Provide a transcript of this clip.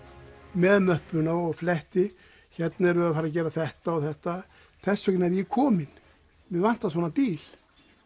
með möppuna og fletti hérna erum við að fara að gera þetta og þetta þess vegna er ég kominn mig vantar svona bíl